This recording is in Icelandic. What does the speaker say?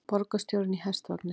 Borgarstjórinn í hestvagni